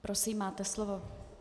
Prosím, máte slovo.